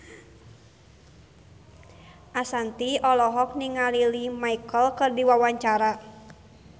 Ashanti olohok ningali Lea Michele keur diwawancara